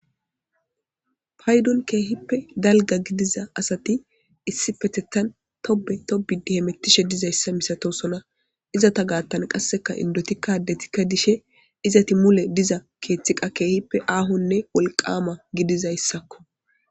paydun keehippe dalga gidiza asati issi petettan tobe tobidihemettishe dizayssa misato sona izata gaattan qasseka indotikkadetikka dishe izati mule diza keeththiqa keehippe aahonne wolqama gidizayssakko